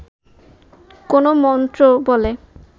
কোন্ মন্ত্রবলে